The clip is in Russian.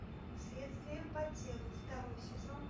следствие по телу второй сезон